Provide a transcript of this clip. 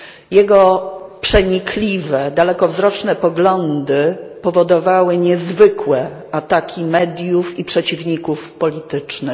Jego przenikliwe dalekowzroczne poglądy powodowały niezwykłe ataki mediów i przeciwników politycznych.